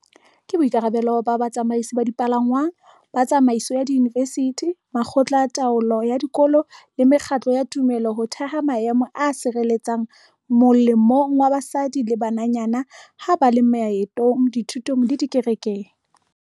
Ke boikarabelo ba batsamaisi ba dipalangwang, ba tsamaiso ya diyunivesithi, makgotla a taolo ya dikolo le mekgatlo ya tumelo ho theha maemo a tshireletsehileng molemong wa basadi le bananyana ha ba le maetong, dithutong le dikerekeng.